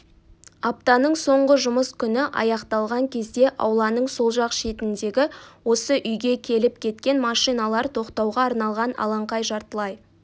аптаның соңғы жұмыс күні аяқталған кезде ауланың сол жақ шетіндегі осы үйге келіп-кеткен машиналар тоқтауға арналған алаңқай жартылай